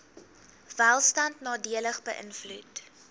welstand nadelig beïnvloed